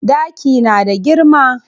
Ɗaki na da girma.